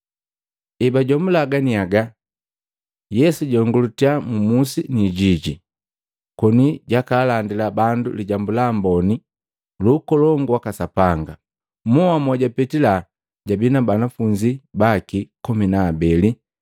Ebajomula ganiaga, Yesu jayongulitya mmusi ni kwijiji, koni jakalandila bandu Lijambu la Amboni lu Ukolongu waka Sapanga. Mwoha mojapetila jabi pamu na banafunzi baki komi na abeli,